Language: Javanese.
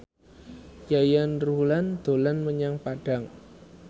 Yayan Ruhlan dolan menyang Padang